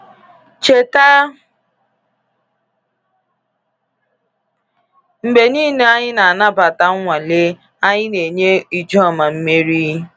Cheta, mgbe niile anyị na-anabata nnwale, anyị na-enye Ijoma mmeri.